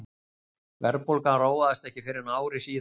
Verðbólgan róaðist ekki fyrr en ári síðar.